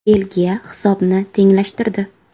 Belgiya hisobni tenglashtirdi.